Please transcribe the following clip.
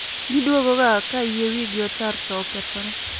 Giduogo ga ka yie wi gi otar to okethore